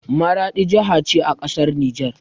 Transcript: Maraɗi jaha ce a ƙasar nijar.